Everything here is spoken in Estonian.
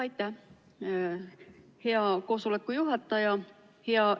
Aitäh, hea koosoleku juhataja!